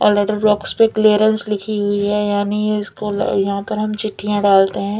और letter blocks पे clearance लिखी हुई है यानी इसको ल यहाँ पर हम चिट्ठियाँ डालते हैं।